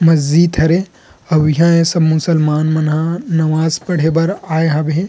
मस्जित हवे अऊ इहाँ सब मुसलमान मन ह नमाज़ पढ़े बर आए हवे हे।